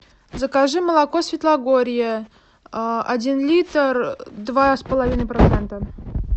закажи молоко светлогорье один литр два с половиной процента